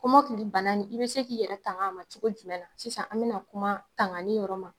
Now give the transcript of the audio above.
Kɔmɔkili bana in i bɛ se k'i yɛrɛ tanga ma cogo jumɛn na ? Sisan an bɛna kuma tangani yɔrɔ ma.